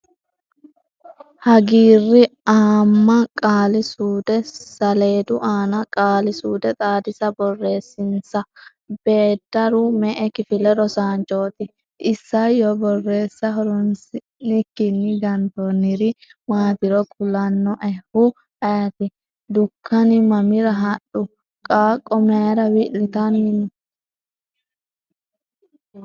Hagiirr - aamma Qaali-suude saleedu aana Qaali-suude Xaadisa borreessinsa. Beeddaru me”e kifile rosaanchooti? Isayyo Borreessa horoonsi’nikkinni gantoonniri maatiro kulannoehu ayeeti? Dukkani mamira hadhu? Qaaqqo may’ra wilitanni no?